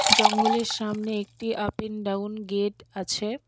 জঙ্গলের সামনে একটি আপ এন ডাউন গেট আছে।